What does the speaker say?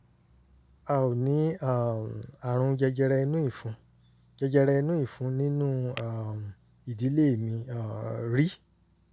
a ò ní um àrùn jẹjẹrẹ inú ìfun jẹjẹrẹ inú ìfun nínú um ìdílé mi um rí